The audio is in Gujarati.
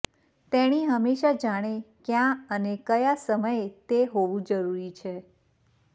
તેણી હંમેશા જાણે ક્યાં અને કયા સમયે તે હોવું જરૂરી છે